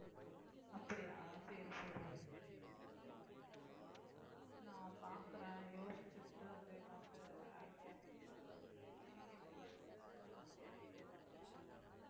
அப்படியா சரி சரி நான் பார்க்கிறேன் யோசிச்சுட்டு வந்து என்னான்ட்டு idea பண்றேன் இங்கேயும் கேட்டுப் பார்த்துட்டு அங்கேயும் கேட்டுப் பார்க்கிறேன்